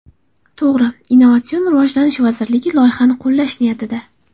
To‘g‘ri, Innnovatsion rivojlanish vazirligi loyihani qo‘llash niyatida.